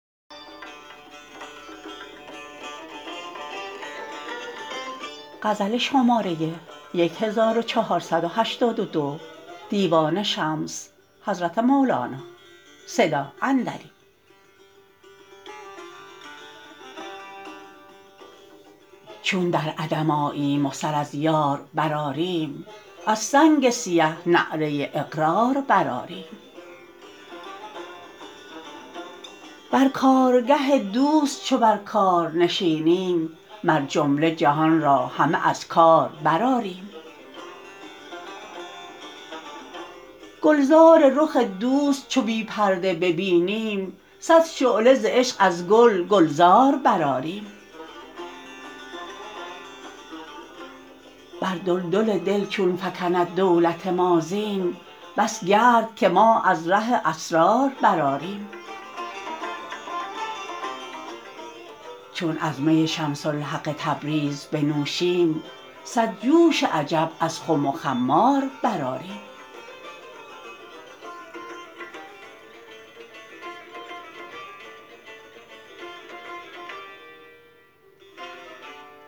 چون در عدم آییم و سر از یار برآریم از سنگ سیه نعره اقرار برآریم بر کارگه دوست چو بر کار نشینیم مر جمله جهان را همه از کار برآریم گلزار رخ دوست چو بی پرده ببینیم صد شعله ز عشق از گل گلزار برآریم بر دلدل دل چون فکند دولت ما زین بس گرد که ما از ره اسرار برآریم چون از می شمس الحق تبریز بنوشیم صد جوش عجب از خم و خمار برآریم